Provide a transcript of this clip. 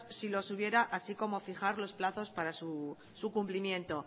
si los hubiera así como fijar los plazos para su cumplimiento